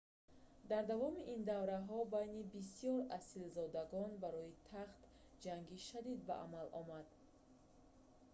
дар давоми ин давраҳо байни бисёр асилзодагон барои тахт ҷанги шадид ба амал омад